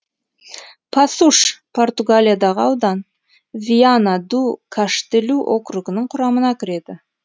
пасуш португалиядағы аудан виана ду каштелу округінің құрамына кіреді